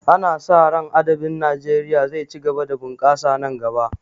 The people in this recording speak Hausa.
Ana sa ran adabin Najeriya zai ci gaba da bunkasa nan gaba